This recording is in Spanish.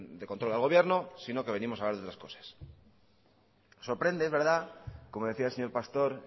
de control al gobierno sino que hoy venimos a hablar de otras cosas sorprende s verdad como decía el señor pastor